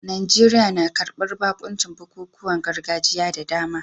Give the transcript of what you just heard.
Najeriya na karbar bakuncin bukukuwan gargajiya da dama